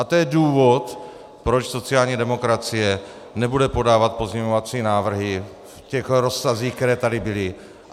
A to je důvod, proč sociální demokracie nebude podávat pozměňovací návrhy v těch rozsazích, které tady byly.